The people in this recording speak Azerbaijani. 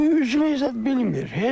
Bu üzməyi zad bilmir.